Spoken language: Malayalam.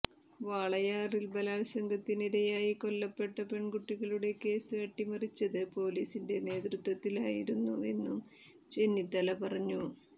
വാളയാറിൽ ബലാത്സംഗത്തിനിരയായി കൊല്ലപ്പെട്ട പെൺകുട്ടികളുടെ കേസ് അട്ടിമറിച്ചത് പൊലീസിന്റെ നേതൃത്വത്തിലായിരുന്നുവെന്നും ചെന്നിത്തല പറഞ്ഞു